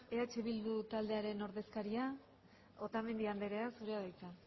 eh bildu taldearen ordezkaria otamendi andrea zurea da hitza